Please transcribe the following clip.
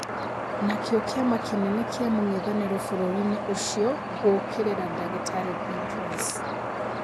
Nakĩo kĩama kĩnene kĩa mũng'ethanĩro bũrũri-inĩ ũcio gũkĩrĩra Ndagĩtarĩ Thedros